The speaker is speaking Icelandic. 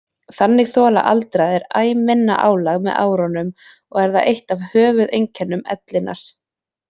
Þannig þola aldraðir æ minna álag með árunum og er það eitt af höfuðeinkennum ellinnar.